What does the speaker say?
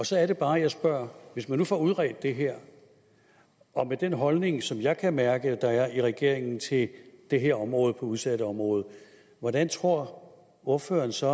så er det bare jeg spørger hvis man nu får udredt det her med den holdning som jeg kan mærke der er i regeringen til det her område på udsatteområdet hvordan tror ordføreren så